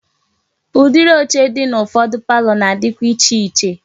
Udiri oche di na ufodu palọ na-adikwa iche iche.